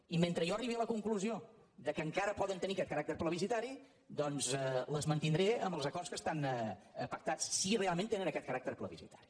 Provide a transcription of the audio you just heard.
i mentre jo arribi a la conclusió que encara poden tenir aquest caràcter plebiscitari doncs les mantindré amb els acords que estan pactats si realment tenen aquest caràcter plebiscitari